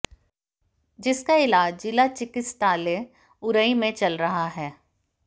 जिसका इलाज जिला चिकित्सालय उरई में चल रहा है